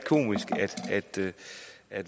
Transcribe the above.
at